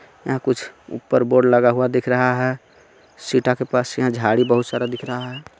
यहाँ कुछ ऊपर बोर्ड लगा हुआ दिख रहा हे सीता के पास यहाँ जाडी बोहोत सारा दिख रहा हे.